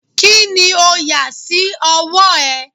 Kini o yà sí ọwọ́ ẹ?